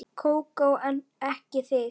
Kókó en ekki þig.